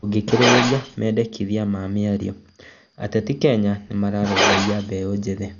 Ndũngikĩrĩria mendekithia ma mĩario, ateti Kenya nĩmarũmbũiya mbeu njĩthĩ